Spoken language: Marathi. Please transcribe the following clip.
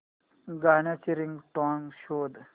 गाण्याची रिंगटोन शोध